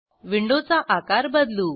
window चा आकार बदलू